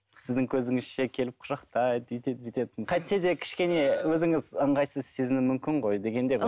сіздің көзіңізше келіп құшақтайды өйтеді бүйтеді қайтсе де кішкене өзіңіз ыңғайсыз сезіну мүмкін ғой дегендей